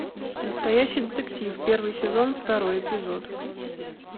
настоящий детектив первый сезон второй эпизод